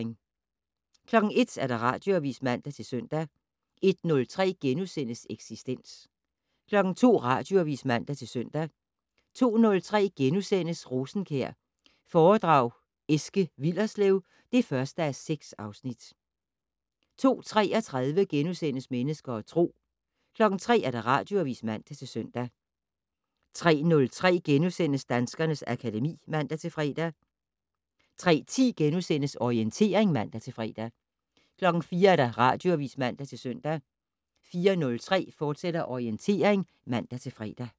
01:00: Radioavis (man-søn) 01:03: Eksistens * 02:00: Radioavis (man-søn) 02:03: Rosenkjær foredrag Eske Willerslev (1:6)* 02:33: Mennesker og Tro * 03:00: Radioavis (man-søn) 03:03: Danskernes akademi *(man-fre) 03:10: Orientering *(man-fre) 04:00: Radioavis (man-søn) 04:03: Orientering, fortsat (man-fre)